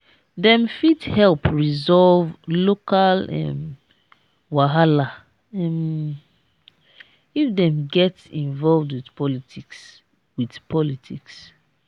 dem fit help resolve local um wahala um if dem get involved with politics. with politics.